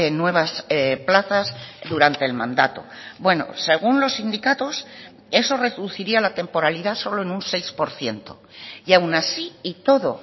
nuevas plazas durante el mandato bueno según los sindicatos eso reduciría la temporalidad solo en un seis por ciento y aun así y todo